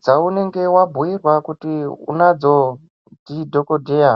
dzaunenge wabhuirwa kuti unadzo ndidhokodheya.